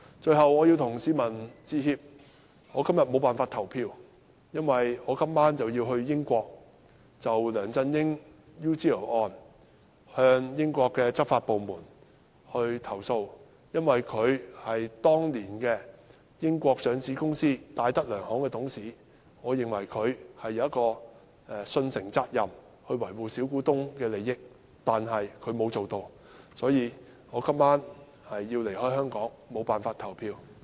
最後，我要向市民致歉，我今天無法投票，因為我今晚要前往英國，就梁振英 UGL 案向英國執法部門投訴，因為他當年是英國上市公司戴德梁行的董事，我認為他有受信責任維護小股東的利益，但他沒有這樣做，所以我今晚要離開香港，無法投票。